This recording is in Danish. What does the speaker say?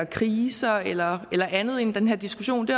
kriser eller eller andet ind i den her diskussion det